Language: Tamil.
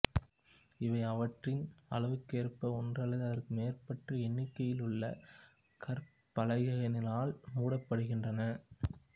இவை அவற்றின் அளவுக்கேற்ப ஒன்று அல்லது அதற்கு மேற்பட்ட எண்ணிக்கையுள்ள கற்பலகைகளினால் மூடப்படுகின்றன